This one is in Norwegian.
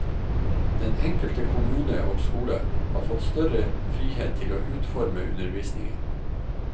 Den enkelte kommune og skole har fått større frihet til å utforme undervisningen.